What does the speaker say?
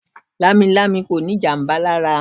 Lamilami kò ní ìjàmbá lára.